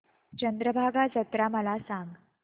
चंद्रभागा जत्रा मला सांग